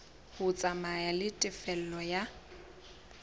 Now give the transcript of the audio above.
ho tsamaya le tefello ya